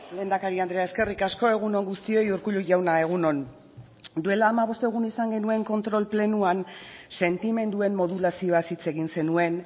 lehendakari andrea eskerrik asko egun on guztioi urkullu jauna egun on duela hamabost egun izan genuen kontrol plenoan sentimenduen modulazioaz hitz egin zenuen